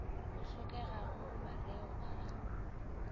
go hlokegago mareo a a